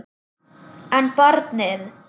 En barnið?